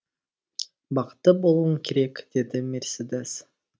бақытты болуың керек деді мерседес